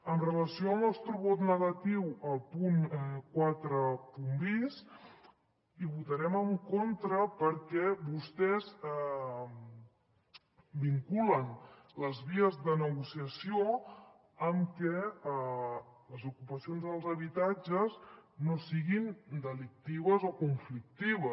amb relació al nostre vot negatiu al punt quatre bis hi votarem en contra perquè vostès vinculen les vies de negociació amb que les ocupacions dels habitatges no siguin delictives o conflictives